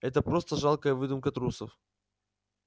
это просто жалкая выдумка трусов